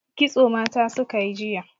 Kitso mata suka yi jiya.